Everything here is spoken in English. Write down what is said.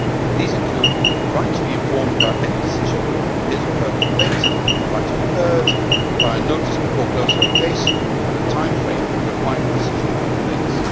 These include the right to be informed about any decision on his or her complaint, the right to be heard, prior notice before closing a case and a timeframe for a final decision on complaints.